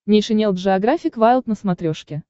нейшенел джеографик вайлд на смотрешке